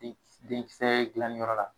I denkisɛ gilaniyɔrɔ la